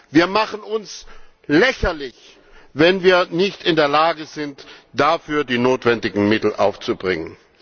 Wir machen uns lächerlich, wenn wir nicht in der Lage sind, dafür die notwendigen Mittel aufzubringen!